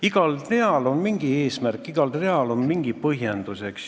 Igal real on mingi eesmärk, igal real on mingi põhjendus.